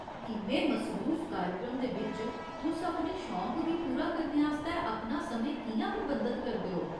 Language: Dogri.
इन्ने मसरूफ कार्यक्रम दे बिच्च तुस अपने शौंक गी पूरा करने आस्तै अपना समें कि'यां प्रबंधित करदे ओ ?